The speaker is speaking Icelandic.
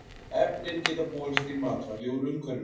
Efnin geta borist í matvæli úr umhverfinu.